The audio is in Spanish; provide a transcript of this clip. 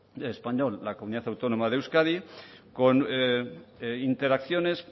español es la comunidad autónoma de euskadi con interacciones